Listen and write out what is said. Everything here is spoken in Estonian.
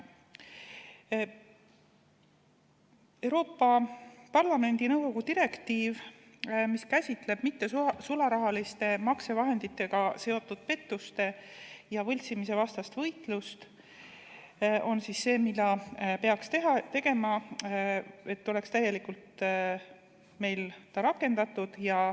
Euroopa Parlamendi ja nõukogu direktiiv, mis käsitleb mittesularahaliste maksevahenditega seotud pettuste ja võltsimise vastast võitlust, on siis see, mis peaks olema meil täielikult rakendatud.